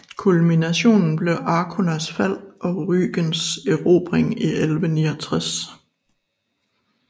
Kulminationen blev Arkonas fald og Rügens erobring i 1169